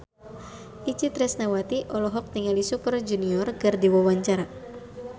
Itje Tresnawati olohok ningali Super Junior keur diwawancara